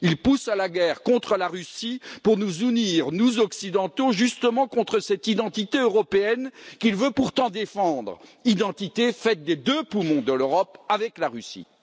Il pousse à la guerre contre la Russie pour nous unir, nous, Occidentaux, justement contre cette identité européenne qu'il veut pourtant défendre, identité faite des deux poumons de l'Europe avec la Russie.